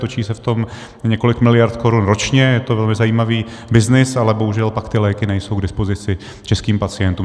Točí se v tom několik miliard korun ročně, je to velmi zajímavý byznys, ale bohužel pak ty léky nejsou k dispozici českým pacientům.